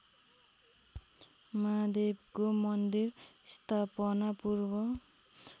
महादेवको मन्दिर स्थापनापूर्व